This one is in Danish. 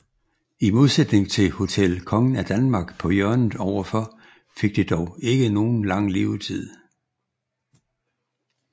I modsætning til Hotel Kongen af Danmark på hjørnet overfor fik det dog ikke nogen lang levetid